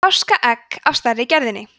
páskaegg af stærri gerðinni